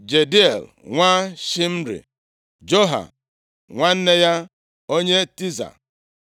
Jediael nwa Shimri, Joha nwanne ya, onye Tiza,